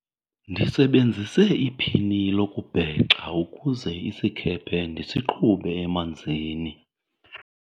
ndisebenzise iphini lokubhexa ukuze isikhephe ndisiqhube emanzini